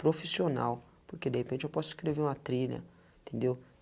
Profissional, porque de repente eu posso escrever uma trilha, entendeu?